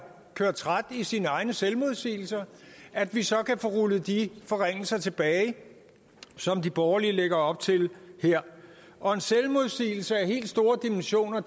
kørt træt i sine egne selvmodsigelser at vi så kan få rullet de forringelser tilbage som de borgerlige lægger op til her og en selvmodsigelse af de helt store dimensioner